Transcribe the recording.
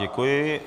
Děkuji.